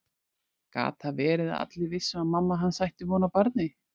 Gat það verið að allir vissu að mamma hans ætti von á barni?